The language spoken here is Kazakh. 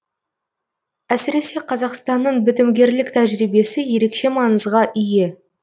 әсіресе қазақстанның бітімгерлік тәжірибесі ерекше маңызға ие